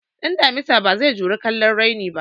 Ɗan damusa bazai juri kallon raini ba